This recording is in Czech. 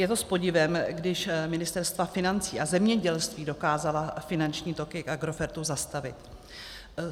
Je to s podivem, když ministerstva financí a zemědělství dokázala finanční toky k Agrofertu zastavit.